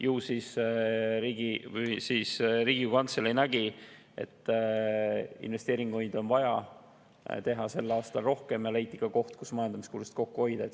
Ju siis Riigikogu Kantselei nägi, et investeeringuid on vaja teha sel aastal rohkem, ja leiti ka koht, kus majandamiskulusid kokku hoida.